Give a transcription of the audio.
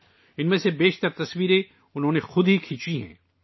ان میں سے زیادہ تر تصاویر ، انہوں نے خود لی ہیں